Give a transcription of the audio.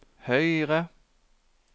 høyre